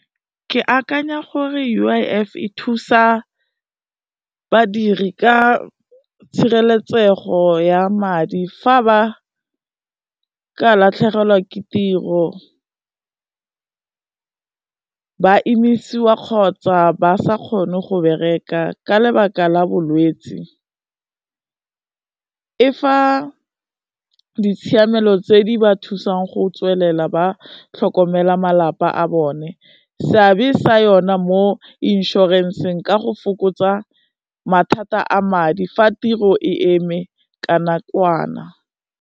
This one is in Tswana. Ke akanya gore U_I_F e thusa badiri ka tshireletsego ya madi fa ba ka latlhegelwa ke tiro, ba emisiwa kgotsa ba sa kgone go bereka ka lebaka la bolwetsi, e fa ditshiamelo tse di ba thusang go tswelela ba tlhokomela malapa a bone, seabe sa yona mo inšorenseng ka go fokotsa mathata a madi fa tiro e eme ka nakwana.